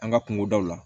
An ka kungodaw la